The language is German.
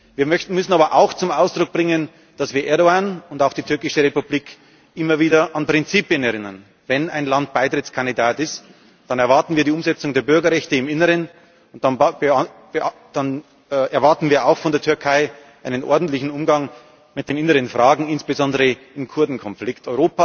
Wir müssen aber auch zum Ausdruck bringen, dass wir Erdoğan und auch die Türkische Republik immer wieder an Prinzipien erinnern Wenn ein Land Beitrittskandidat ist, dann erwarten wir die Umsetzung der Bürgerrechte im Inneren, dann erwarten wir auch von der Türkei einen ordentlichen Umgang mit den inneren Fragen, insbesondere im Kurdenkonflikt.